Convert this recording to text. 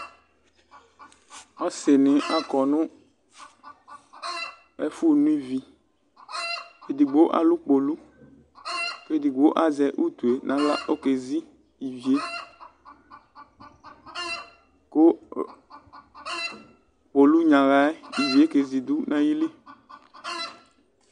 Ɔsɩ nɩ akɔ nʋ ɛfʋ no iviEdigbo alʋ kpolu kedigbo azɛ utu e naɣla oke zi ivie Kʋ kpolu nyaɣa yɛ oke zi dʋ nayili